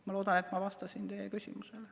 Ma loodan, et ma vastasin teie küsimusele.